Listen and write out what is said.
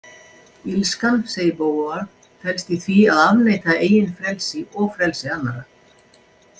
Illskan, segir Beauvoir, felst í því að afneita eigin frelsi og frelsi annarra.